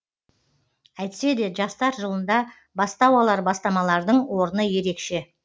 әйтсе де жастар жылында бастау алар бастамалардың орны ерекше